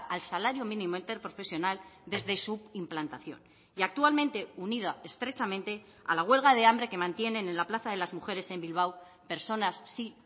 al salario mínimo interprofesional desde su implantación y actualmente unida estrechamente a la huelga de hambre que mantienen en la plaza de las mujeres en bilbao personas sí